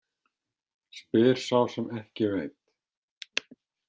Spyr sá sem ekki veit.